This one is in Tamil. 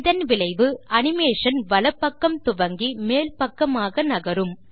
இதன் விளைவு அனிமேஷன் வலப்பக்கம் துவங்கி மேல் பக்கமாக நகரும்